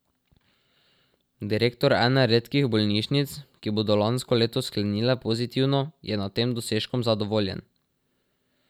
Direktor ene redkih bolnišnic, ki bodo lansko leto sklenile pozitivno, je nad tem dosežkom zadovoljen.